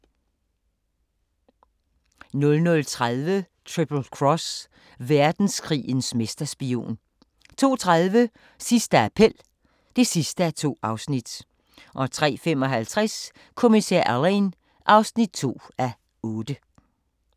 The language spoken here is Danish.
00:30: Triple Cross – verdenskrigens mesterspion 02:30: Sidste appel (2:2) 03:55: Kommissær Alleyn (2:8)